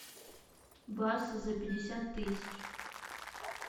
бас за пятьдесят тысяч